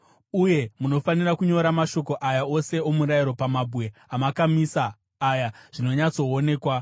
Uye munofanira kunyora mashoko aya ose omurayiro pamabwe amakamisa aya zvinonyatsoonekwa.”